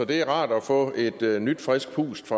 det er rart at få et nyt frisk pust